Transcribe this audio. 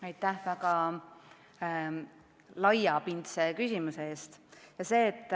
Aitäh väga laiapindse küsimuse eest!